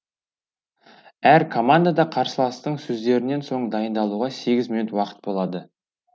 әр командада қарсыластың сөздерінен соң дайындалуға сегіз минут уақыт болады